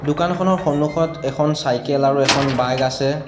দোকানখনৰ সন্মুখত এখন চাইকেল আৰু এখন বাইক আছে।